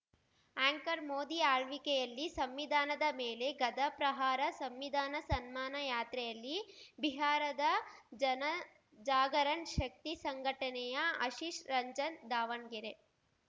anchor Modi ಆಳ್ವಿಕೆಯಲ್ಲಿ ಸಂವಿಧಾನದ ಮೇಲೆ ಗಧಾ ಪ್ರಹಾರ ಸಂವಿಧಾನ ಸನ್ಮಾನ ಯಾತ್ರೆಯಲ್ಲಿ ಬಿಹಾರದ ಜನ ಜಾಗರಣ್‌ ಶಕ್ತಿ ಸಂಘಟನೆಯ ಆಶಿಶ್‌ ರಂಜನ್‌ ದಾವಣ್ಗೆರೆ